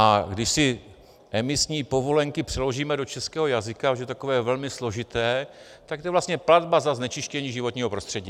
A když si emisní povolenky přeložíme do českého jazyka, což je takové velmi složité, tak to je vlastně platba za znečištění životního prostředí.